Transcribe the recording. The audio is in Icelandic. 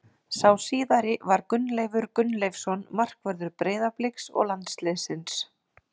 Sá síðari var Gunnleifur Gunnleifsson markvörður Breiðabliks og landsliðsins.